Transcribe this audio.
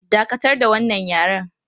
Dakatar da wannan yaren!